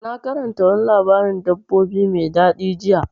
Na karanta wani labarin dabbobi mai daɗi jiya.